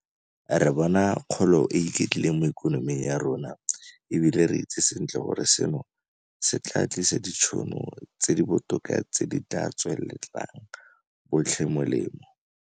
Re bona kgolo e e iketlileng mo ikonoming ya rona, e bile re itse sentle gore seno se tla tlisa ditšhono tse di botoka tse di tla tswelang botlhe molemo.